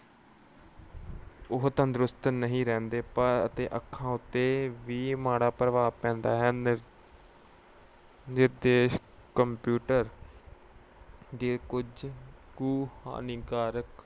ਉਹ ਤੰਦਰੁਸਤ ਨਹੀਂ ਰਹਿੰਦੇ ਪਰ ਅਹ ਅਤੇ ਅੱਖਾਂ ਉੱਤੇ ਵੀ ਮਾੜਾ ਪ੍ਰਭਾਵ ਪੈਂਦਾ ਹੈ। ਨਿਰਸੰਦੇਹ computer ਦੇ ਕੁਝ ਕੁ ਹਾਨੀਕਾਰਕ